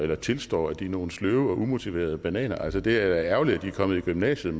eller tilstår at de er nogle sløve og umotiverede bananer altså det er da ærgerligt at de er kommet i gymnasiet